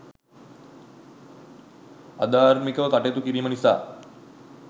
අධාර්මිකව කටයුතු කිරීම නිසා